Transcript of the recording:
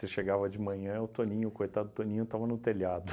Você chegava de manhã, o Toninho, o coitado do Toninho, estava no telhado.